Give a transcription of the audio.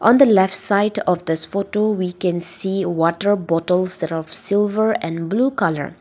on the left side of this photo we can see water bottle set of silver and blue colour.